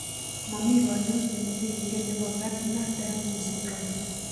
momi kanyaiset negingen nepo Gardner Diamond syndrome.